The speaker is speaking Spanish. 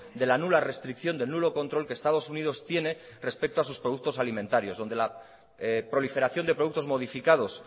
de la nula restricción del nulo control que estados unidos tiene respecto a sus productos alimentarios donde la proliferación de productos modificados